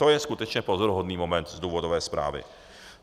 To je skutečně pozoruhodný moment z důvodové zprávy.